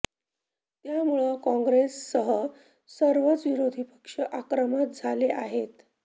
त्यामुळं काँग्रेससह सर्वच विरोधी पक्ष आक्रमक झाले आहेत